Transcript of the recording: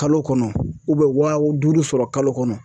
Kalo kɔnɔ wa duuru sɔrɔ kalo kɔnɔ